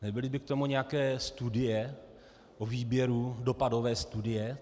Nebyly by k tomu nějaké studie o výběru, dopadové studie?